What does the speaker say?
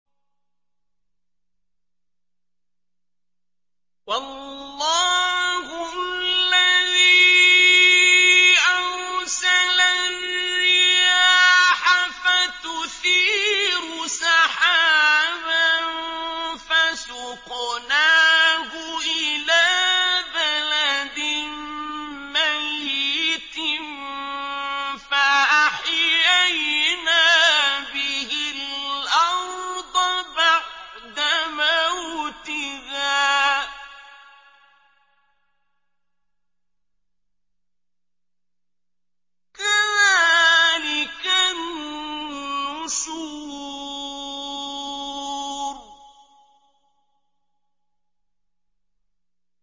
وَاللَّهُ الَّذِي أَرْسَلَ الرِّيَاحَ فَتُثِيرُ سَحَابًا فَسُقْنَاهُ إِلَىٰ بَلَدٍ مَّيِّتٍ فَأَحْيَيْنَا بِهِ الْأَرْضَ بَعْدَ مَوْتِهَا ۚ كَذَٰلِكَ النُّشُورُ